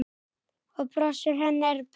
Og brosið hennar er breitt.